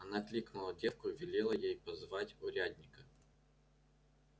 она кликнула девку и велела ей позвать урядника